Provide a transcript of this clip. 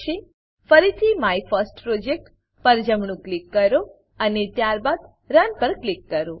ફરીથી my first project my first project પર જમણું ક્લિક કરો અને ત્યારબાદ રન રન પર ક્લિક કરો